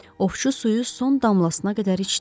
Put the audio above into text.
Ovçu suyu son damlasına qədər içdi.